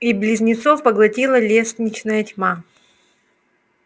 и близнецов поглотила лестничная тьма